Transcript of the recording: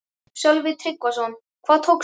Sölvi Tryggvason: Hvað tókstu?